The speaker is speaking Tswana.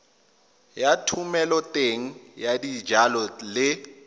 ya thomeloteng ya dijalo le